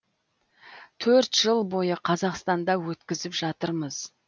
төрт жыл бойы қазақстанда өткізіп жатырмыз